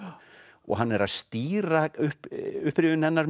og hann er að stýra upprifjun hennar